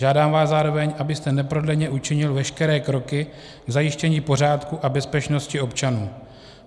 Žádám vás zároveň, abyste neprodleně učinil veškeré kroky k zajištění pořádku a bezpečnosti občanů.